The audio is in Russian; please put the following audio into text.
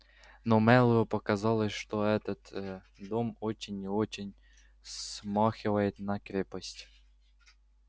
но мэллоу показалось что этот дом очень и очень смахивает на крепость